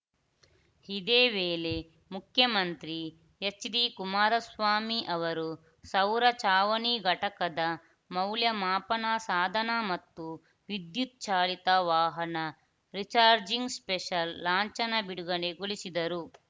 ಇದೇ ವೇಳೆ ಮುಖ್ಯಮಂತ್ರಿ ಎಚ್‌ಡಿಕುಮಾರಸ್ವಾಮಿ ಅವರು ಸೌರ ಚಾವಣಿ ಘಟಕದ ಮೌಲ್ಯಮಾಪನ ಸಾಧನ ಮತ್ತು ವಿದ್ಯುತ್‌ ಚಾಲಿತ ವಾಹನ ರೀಚಾರ್ಜಿಂಗ್‌ ಸ್ಟೇಷನ್‌ ಲಾಂಛನ ಬಿಡುಗಡೆಗೊಳಿಸಿದರು